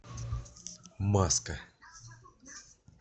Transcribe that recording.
маска